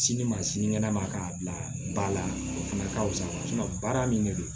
Sini ma sinikɛnɛ ma k'a bila ba la o fana ka fisa baara min de don